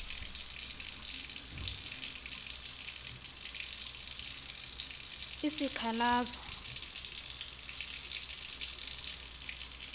izikhalazo